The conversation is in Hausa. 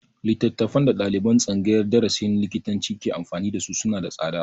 Littafan da ɗaliban tsangayar darasin likitanci ke amfani da su suna da tsada